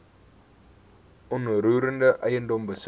onroerende eiendom besit